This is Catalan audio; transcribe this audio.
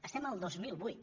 som el dos mil vuit